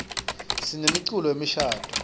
sinemiculo yemishadvo